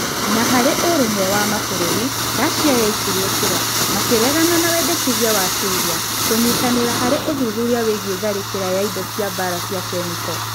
Na harĩ ũrũmwe wa mabũrũri, Russia yaikirie kura makĩregana na wendekithia wa Syria kũnyitanĩra harĩ ũthuthuria wĩgiĩ tharĩkĩra ya indo cĩa mbara cĩa kemiko